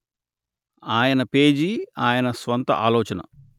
ఆయన పేజీ ఆయన స్వంత ఆలోచన